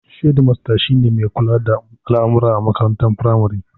Shedimasta shine shugaba mai kula da al'amuran makaranta a firamare